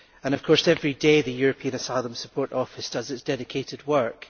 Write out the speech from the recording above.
Of course, every day the European Asylum Support Office does its dedicated work.